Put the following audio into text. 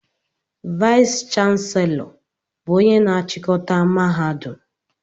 Vayis chansilọ bụ ónyé na-chikọta mahadum.